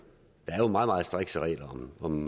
er jo meget meget strikse regler om